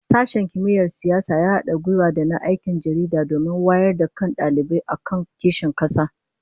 Sashen Kimiyyar Siyasa ya hada gwiwa da na Aikin Jaridah domin wayar da kan dalibai akan kishin kasa